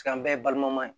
an bɛɛ ye balima ye